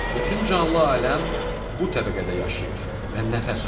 Bütün canlı aləm bu təbəqədə yaşayır və nəfəs alır.